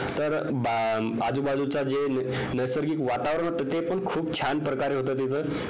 तर मग आजूबाजूचं जे नैसर्गिक वातावरण ते पण खूप छान प्रकारे होत तिथं